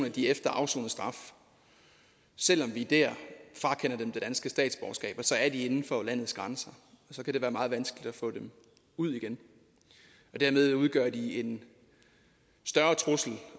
at de efter afsonet straf selv om vi dér frakender dem det danske statsborgerskab er inden for landets grænser og så kan det være meget vanskeligt at få dem ud igen dermed udgør de en større trussel